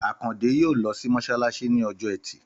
Àkàndé yóò lọ sí mọṣalaṣi ní ọjọ́ ẹtì